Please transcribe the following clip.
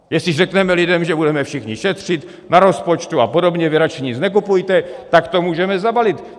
Jestli řekneme lidem, že budeme všichni šetřit na rozpočtu a podobně, vy radši nic nekupujte, tak to můžeme zabalit.